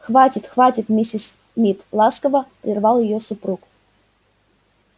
хватит хватит миссис мид ласково прервал её супруг